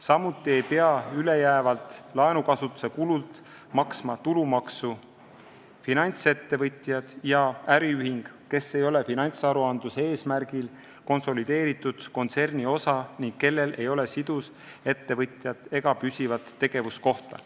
Samuti ei pea ülejäävalt laenukasutuse kulult maksma tulumaksu finantsettevõtjad ja äriühing, kes ei ole finantsaruandluse eesmärgil konsolideeritud kontserni osa ning kellel ei ole sidusettevõtjat ega püsivat tegevuskohta.